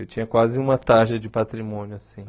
Eu tinha quase uma tarja de patrimônio assim.